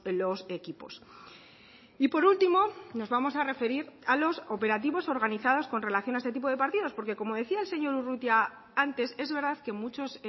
los equipos y por último nos vamos a referir a los operativos organizados con relación a este tipo de partidos porque como decía el señor urrutia antes es verdad que muchos